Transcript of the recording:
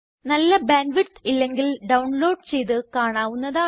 നല്ല bandwidth ഇല്ലെങ്കിൽ download ചെയ്ത് കാണാവുന്നതാണ്